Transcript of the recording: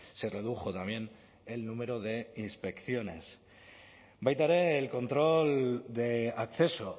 se redujo también el número de inspecciones baita ere el control de acceso